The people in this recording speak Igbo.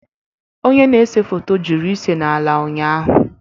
Onye na-ese foto jụrụ ịse n'ala ụnyahụ